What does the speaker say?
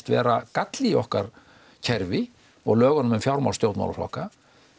vera galli í okkar kerfi og lögunum um fjármál stjórnmálaflokka